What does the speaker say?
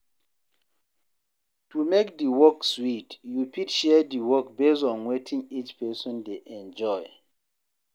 To make di work sweet you fit share di work based on wetin each person dey enjoy